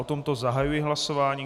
O tomto zahajuji hlasování.